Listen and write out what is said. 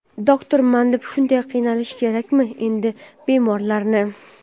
Doktorman deb shunday qiynash kerakmi endi bemorlarni?.